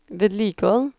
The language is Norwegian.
vedlikehold